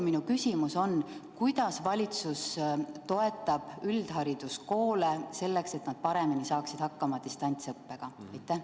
Minu küsimus on, kuidas valitsus toetab üldhariduskoole, selleks et nad paremini saaksid hakkama distantsõppega?